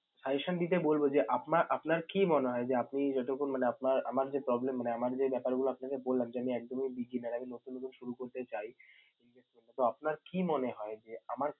suggestion দিতে বলবো যে, আপনা~ আপনার কি মনে হয় যে আপনি যতক্ষণ মানে আপনার~ আমার যে problem মানে আমার যে ব্যাপারগুলো আপনাকে বললাম যে আমি একদমই beginner আমি নতুন নতুন শুরু করতে চাই, তো আপনার কি মনে হয় যে আমার